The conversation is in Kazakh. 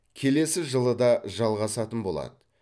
келесі жылы да жалғасатын болады